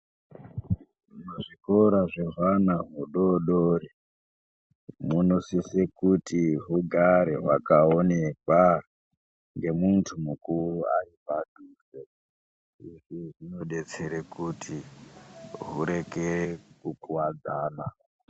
Zvikora zvehwana hudodori, munosise kuti hugare hwakaonekwa, ngemuntu mukuru ari padhuze. Izvi zvinodetsere kuti hureke kukuwadzana.